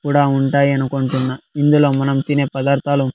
కూడా ఉంటాయి అనుకుంటున్నా ఇందులో మనం తినే పదార్థాలు.